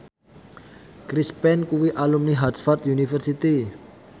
Chris Pane kuwi alumni Harvard university